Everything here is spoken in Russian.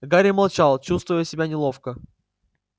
гарри молчал чувствуя себя неловко